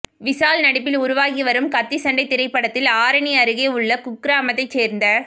விஷால் நடிப்பில் உருவாகி வரும் கத்தி சண்டை திரைப்படத்தில் ஆரணி அருகே உள்ள குக்கிராமத்தை சேர்ந்த